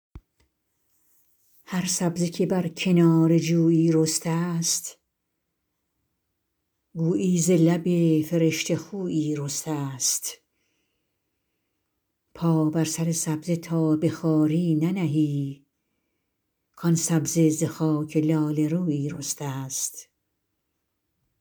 هر سبزه که بر کنار جویی رسته ست گویی ز لب فرشته خویی رسته ست پا بر سر سبزه تا به خواری ننهی کآن سبزه ز خاک لاله رویی رسته ست